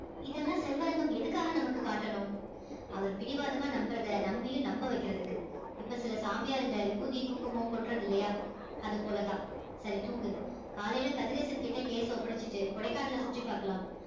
இதெல்லாம் செல்வரங்கம் எதுக்காக நமக்கு காட்டணும் அவர் பிடிவாதமா நம்புறதை நம்மையும் நம்ப வைக்கிறதுக்கு இப்ப சில சாமியாருங்க விபூதி குங்குமம் கொட்டுறது இல்லையா அது போலதான் சரி தூங்கு காலையில கதிரேசன்கிட்ட case அ ஒப்படைச்சிட்டு கொடைக்கானலை சுற்றி பார்க்கலாம்